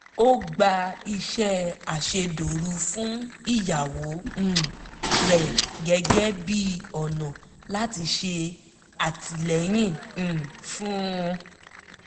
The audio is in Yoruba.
ó gba iṣẹ́ àṣedòru fún ìyàwó um rẹ̀ gẹ́gẹ́ bí ọ̀nà láti ṣe àtìlẹyìn um fún un